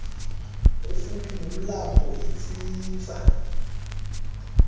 kufuphi nomlambo itsitsa